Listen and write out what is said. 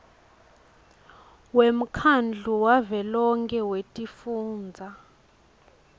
wemkhandlu wavelonkhe wetifundza